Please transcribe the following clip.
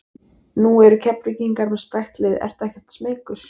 Nú eru Keflvíkingar með sprækt lið ertu ekkert smeykur?